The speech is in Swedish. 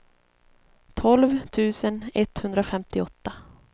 tolv tusen etthundrafemtioåtta